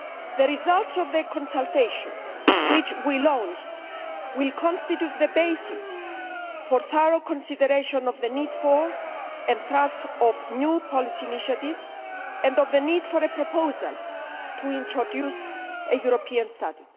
The results of the consultation which we launched will constitute the basis for thorough consideration of the need for, and thrust of, new policy initiatives and of the need for a proposal to introduce a European study.